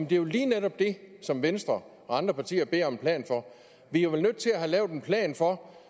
det er jo lige netop det som venstre og andre partier beder om en plan for vi er vel nødt til at få lavet en plan for